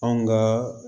Anw ka